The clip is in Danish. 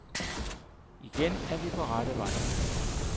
Igen er vi på rette vej.